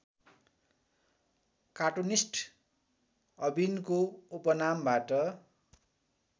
cartoonist अविनको उपनामबाट